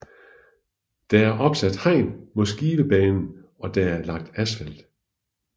Der er opsat hegn mod Skivebanen og der er lagt asfalt